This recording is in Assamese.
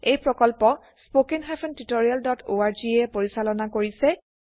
এই প্ৰকল্প httpspoken tutorialorg এ পৰিচালনা কৰিছে